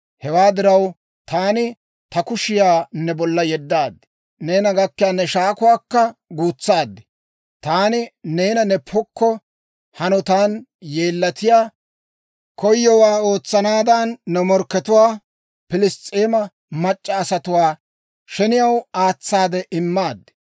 Hewaa diraw, taani ta kushiyaa ne bolla yeddaad; neena gakkiyaa ne shaakuwaakka guutsaad. Taani neena ne pokko hanotan yeellatiyaa, koyowaa ootsanaadan ne morkkatuwaa Piliss's'eema mac'c'a asatuwaa sheniyaw aatsaade immaad.